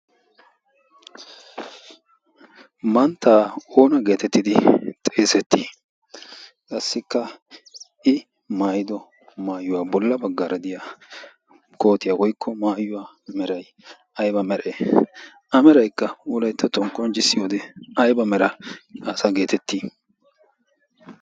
mantta oona geetettidi xeesettii? qassikka i mayido maayuwaa bolla baggaara diya kootiya woyikko maayuwa meray ayiba meree? a merayikka wolayittattuwan qonccissiyode ayiba mera asa geetettii?